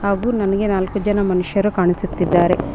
ಹಾಗು ನನ್ಗೆ ನಾಲ್ಕು ಜನ ಮನುಷ್ಯರು ಕಾಣಿಸುತ್ತಿದ್ದಾರೆ.